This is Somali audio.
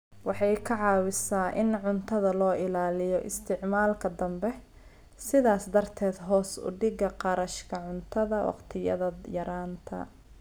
Waxay ka caawisaa in cuntada loo ilaaliyo isticmaalka dambe, sidaas darteed hoos u dhigida kharashka cuntada wakhtiyada yaraanta.